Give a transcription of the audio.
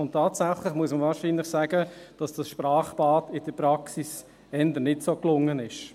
Und tatsächlich muss man wahrscheinlich sagen, dass das Sprachbad in der Praxis eher nicht so gelungen ist.